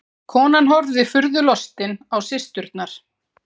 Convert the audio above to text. Konan horfði furðu lostin á systurnar.